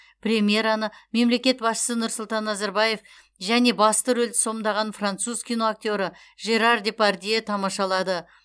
премьераны мемлекет басшысы нұрсұлтан назарбаев және басты рөлді сомдаған француз киноактері жерар депардье тамашалады